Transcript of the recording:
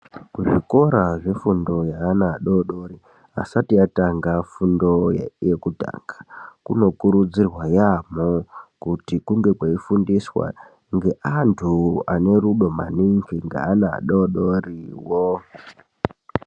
Kuzvikora zvefundo yeana adoodori, asati atanga fundo yekutanga. Kunokurudzirwa yaamho, kuti kunge kweifundiswa ngeantu ane rudo maningi ngeana adoodoriwo.